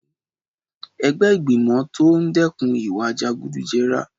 Ẹgbẹ́ ìgbìmọ̀ tó ń dẹ́kun ìwà jẹgúdújẹrá ti fi ẹ̀sùn ìkówójẹ kan bọ́sà pólì kan ni Ìpínlẹ̀ Ògùn